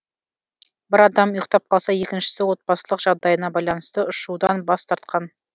бір адам ұйықтап қалса екіншісі отбасылық жағдайына байланысты ұшудан бас тартқан